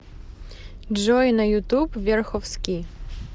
джой на ютуб верховски